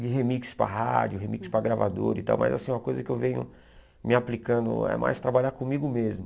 De remix para rádio, remix para gravador e tal, mas assim uma coisa que eu venho me aplicando é mais trabalhar comigo mesmo.